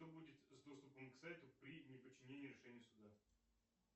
что будет с доступом к сайту при неподчинении решению суда